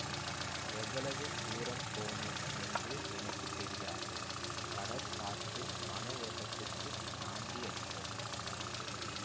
எவ்வளவு தூரம் போனேன் என்று எனக்கு தெரியாது கடற் காற்றும் மனவோட்டத்திற்குச் சாந்தியளித்தது